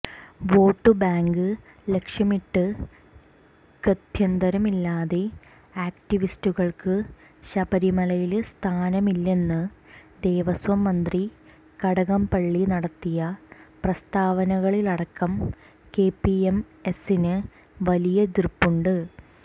vote bank ലക്ഷ്യമിട്ട് ഗത്യന്തരമില്ലാതെ ആക്ടിവിസ്റ്റുകള്ക്ക് ശബരിമലയില് സ്ഥാനമില്ലെന്ന് ദേവസ്വം മന്ത്രി കടകംപള്ളി നടത്തിയ പ്രസ്താവനകളിലടക്കം കെപിഎംഎസ്സിന് വലിയ എതിര്പ്പുണ്ട്